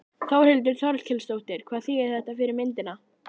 Þórhildur Þorkelsdóttir: Hvað þýðir þetta fyrir myndina?